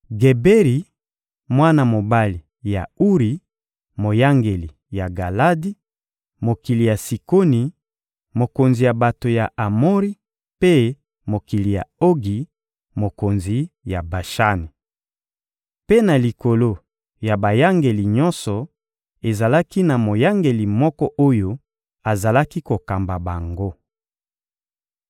Geberi, mwana mobali ya Uri: moyangeli ya Galadi (mokili ya Sikoni, mokonzi ya bato ya Amori; mpe mokili ya Ogi, mokonzi ya Bashani). Mpe na likolo ya bayangeli nyonso, ezalaki na moyangeli moko oyo azalaki kokamba bango.